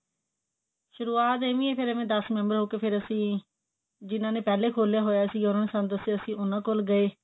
ਸ਼ੁਰੁਵਾਤ ਐਵੇਂ ਹੀ ਫੇਰ ਦਸ member ਹੋਕੇ ਫੇਰ ਅਸੀਂ ਜਿਨਾਂਨੇ ਪਹਿਲੇ ਖੋਲਿਆ ਹੋਇਆ ਸੀ ਉਹਨਾਂ ਨੇ ਸਾਨੂੰ ਦਸਿਆ ਅਸੀਂ ਉਹਨਾਂ ਕੋਲ ਗਏ